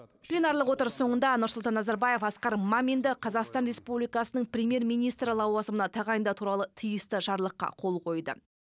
пленарлық отырыс соңында нұрсұлтан назарбаев асқар маминді қазақстан республикасының премьер министрі лауазымына тағайындау туралы тиісті жарлыққа қол қойды